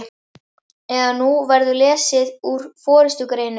eða Nú verður lesið úr forystugreinum